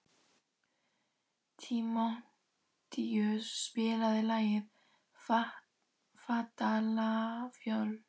Tímóteus, spilaðu lagið „Fatlafól“.